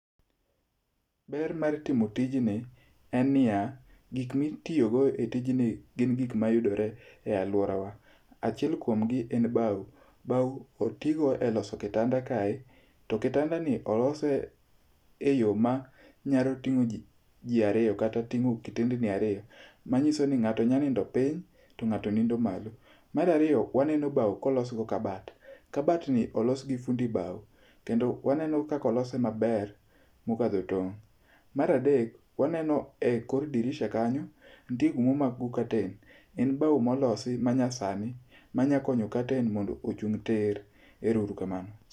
Ber mar timo tijni en niya, gik ma itiyogo e tijni gin gik mayudore e aluorawa. Achiel kuom gi en bao, bao otigo eloso kitanda kae to kitandani olose eyo ma nyalo ting'o ji ariyo kata kitend ni ariyo. Manyiso ni ng'ato nyalo nindo piny, to ng'ato nindo malo. Mar ariyo, waneno bao kolos go kabat, kabat ni olos gi fundi bao kendo waneno kaka olose maber mokadho tong'. Mar adek, waneno ekor dirisha kanyo, waneno gima omak go curtain. En bao molosi manyasani manyakonyo [cs6 curtain mondo ochung' tir. Erouru kamano.